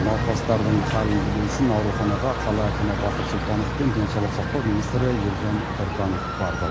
науқастардың халін білу үшін ауруханаға қала әкімі бақыт сұлтанов пен денсаулық сақтау министрі елжан біртанов барды